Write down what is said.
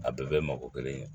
A bɛɛ bɛ mɔgɔ kelen ye